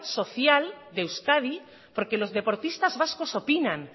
social de euskadi porque los deportistas vascos opinan